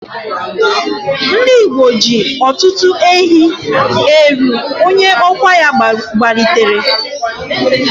Ndigbo na-eji ọtụtụ ehi elu onye ọkwa ya gbalitere.